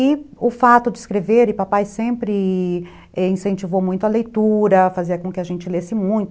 E o fato de escrever, e papai sempre... incentivou muito a leitura, fazia com que a gente lesse muito.